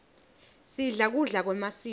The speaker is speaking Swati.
sidla kudla kwemasiko